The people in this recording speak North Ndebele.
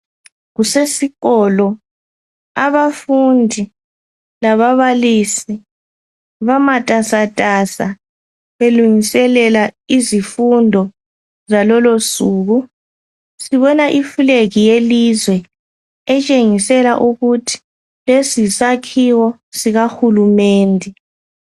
Kusesikolo abafundi lababalisi bamatasatasa, belungiselela izifundo zalolo suku. Sibona ifulegi yelizwe, etshengisela ukuthi lesi yisakhiwo sikahulumende.